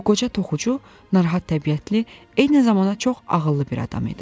Bu qoca toxucu narahat təbiətli, eyni zamanda çox ağıllı bir adam idi.